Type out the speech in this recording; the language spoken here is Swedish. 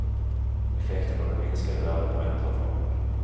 Effekterna av det minskade värdet på ränteavdragen.